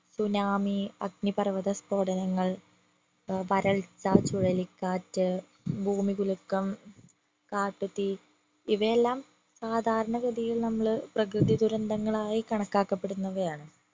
tsunami അഗ്നിപർവത സ്ഫോടനങ്ങൾ ഏർ വരൾച്ച ചുഴലിക്കാറ്റ് ഭൂമികുലുക്കം കാട്ടുതീ ഇവയെല്ലാം സാധാരണ ഗതിയിൽ നമ്മള് പ്രകൃതി ദുരന്തങ്ങൾ ആയി കണക്കാക്കപ്പെടുന്നവയാണ്